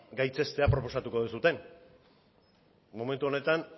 gaitzestea proposatuko duzue momentu honetan